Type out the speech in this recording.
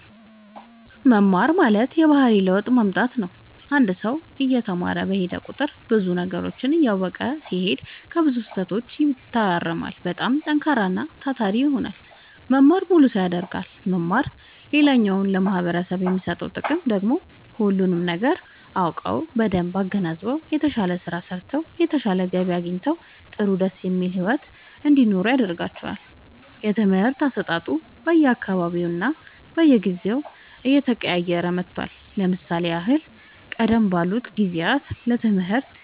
መማር ማለት የባህሪ ለውጥ ማምጣት ነው አንድ ሰው እየተማረ በሄደ ቁጥር ብዙ ነገሮችን እያወቀ ሲሄድ ከብዙ ስህተቶች ይታረማል በጣም ጠንካራና ታታሪ ይሆናል መማር ሙሉ ሰው ያደርጋል መማር ሌላኛው ለማህበረሰቡ የሚሰጠው ጥቅም ደግሞ ሁሉንም ነገር አውቀው በደንብ አገናዝበው የተሻለ ስራ ሰርተው የተሻለ ገቢ አግኝተው ጥሩ ደስ የሚል ሒወት እንዲኖሩ ያደርጋቸዋል። የትምህርት አሰጣጡ በየ አካባቢውና በየጊዜው እየተቀያየረ መጥቷል ለምሳሌ ያህል ቀደም ባሉት ጊዜያት ለትምህርት